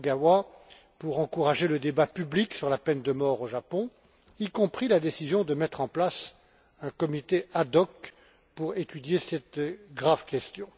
Ogawa pour encourager le débat public sur la peine de mort au Japon, y compris la décision de mettre en place un comité ad hoc pour étudier cette grave question.